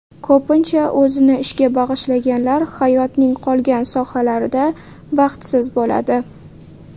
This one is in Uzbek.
Ko‘pincha o‘zini ishga bag‘ishlaganlar hayotning qolgan sohalarida baxtsiz bo‘ladi.